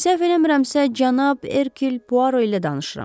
Səhv eləmirəmsə, cənab Herküll Puaro ilə danışıram.